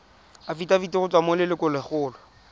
afitafiti go tswa go lelokolegolo